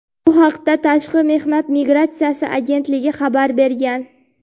Bu haqda Tashqi mehnat migratsiyasi agentligi xabar bergan.